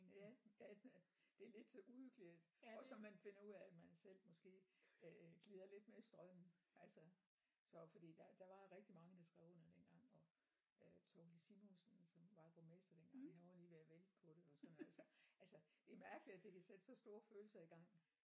Ja ja det er lidt uhyggeligt at også at man finder ud af at man selv måske øh glider lidt med strømmen altså så fordi der der var rigtig mange der skrev under dengang og øh Thorkild Simonsen som var borgmester dengang han var lige ved at vælte på det og sådan altså altså det er mærkeligt at det kan sætte så store følelser i gang